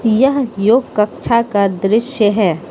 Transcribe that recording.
यह योग कक्षा का दृश्य है।